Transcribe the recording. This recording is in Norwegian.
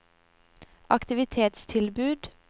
aktivitetstilbud